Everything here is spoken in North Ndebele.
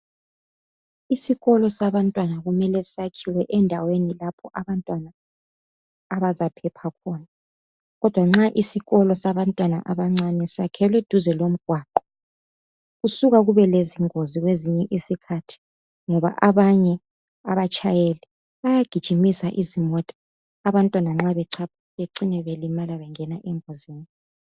Isikolo sabantwana kumele sakhelwe endaweni lapho abantwana, abazaphepha khona, kodwa nxa isikolo sabantwana abancane sakhelwe duze lomgwaqo, kusuka kube lezingozi kwezinye isikhathi, ngoba abanye abatshayeli, bayagijimisa izimota, abantwana nxa bechapha. Becine belimala, bengena engozini